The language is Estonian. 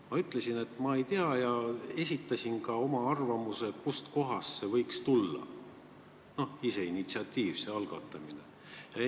Ma ütlesin, et ma ei tea, ja esitasin ka oma arvamuse, kust kohast võiks see initsiatiiv, see algatus tulla.